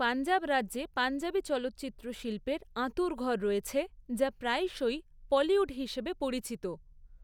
পঞ্জাব রাজ্যে পঞ্জাবি চলচ্চিত্র শিল্পের আঁতুড়ঘর রয়েছে, যা প্রায়শই 'পলিউড' হিসাবে পরিচিত।